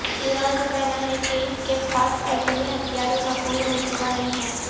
ایران کا کہنا ہے کہ اس کے پاس ایٹمی ہتھیاروں کا کوئی منصوبہ نہیں ہے